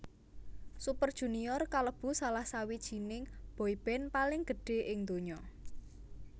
Super Junior kalebu salah sawijininé boyband paling gedhé ing ndonya